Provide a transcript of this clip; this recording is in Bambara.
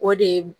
O de ye